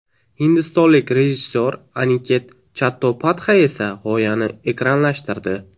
Hindistonlik rejissyor Aniket Chattopadhay esa g‘oyani ekranlashtirdi.